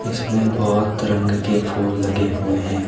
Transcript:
इसमें बहोत रंग के फूल लगे हुए हैं।